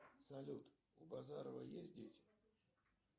салют у базарова есть дети